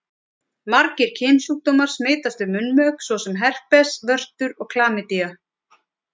Margir kynsjúkdómar smitast við munnmök svo sem herpes, vörtur og klamydía.